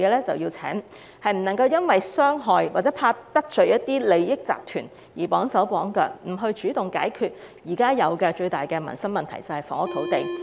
政府不能夠因害怕得罪利益集團而綁手綁腳，不主動解決現時最大民生的問題，即房屋土地問題。